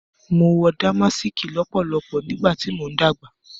Mo wọ Dàmàsìkì lọ́pọ̀lọpọ̀ nígbàtí mo ń dàgbà